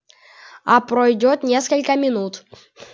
а пройдёт несколько минут